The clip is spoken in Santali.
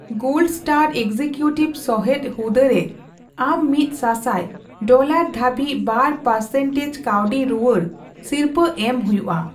ᱜᱳᱞᱰ ᱮᱥᱴᱟᱨ ᱮᱥᱠᱤᱠᱤᱣᱴᱤᱵᱷ ᱥᱚᱦᱮᱫ ᱦᱩᱫᱟᱹᱨᱮ ᱟᱢ ᱢᱤᱛ ᱥᱟᱥᱟᱭ ᱰᱚᱞᱟᱨ ᱫᱷᱟᱹᱵᱤᱡ ᱵᱟᱨ ᱯᱟᱨᱥᱮᱱᱴᱮᱡᱽ ᱠᱟᱣᱰᱤ ᱨᱩᱣᱟᱹᱲ ᱥᱤᱨᱯᱟᱹ ᱮᱢ ᱦᱳᱭᱳᱜᱼᱟ ᱾